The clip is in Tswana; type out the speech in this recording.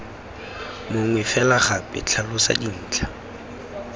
mongwe fela gape tlhalosa dintlha